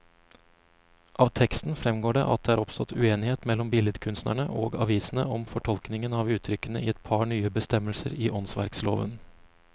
Av teksten fremgår det at det er oppstått uenighet mellom billedkunstnerne og avisene om fortolkningen av uttrykkene i et par nye bestemmelser i åndsverkloven.